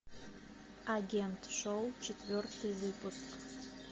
агент шоу четвертый выпуск